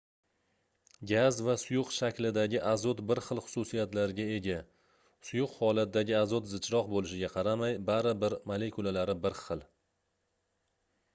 gaz va suyuq shaklidagi azot bir xil xususiyatlarga ega suyuq holatdagi azot zichroq boʻlishiga qaramay bari bir molekulalari bir xil